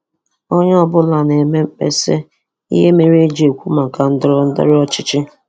Onye ọ bụla na-eme mkpesa ihe mere i ji ekwu maka ndọrọ ndọrọ ọchịchị.